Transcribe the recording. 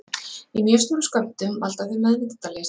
Í mjög stórum skömmtum valda þau meðvitundarleysi.